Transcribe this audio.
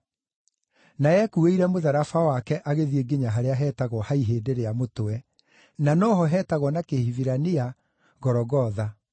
Na ekuuĩire mũtharaba wake agĩthiĩ nginya harĩa heetagwo “Ha Ihĩndĩ rĩa Mũtwe” (na no ho hetagwo na Kĩhibirania, Gologotha.)